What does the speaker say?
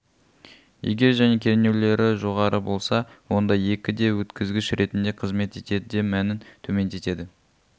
егер және кернеулері жоғары болса онда екі де өткізгіш ретінде қызмет етеді де мәнін төмендетеді